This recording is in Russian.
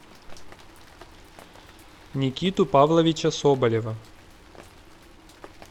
никиту павловича соболева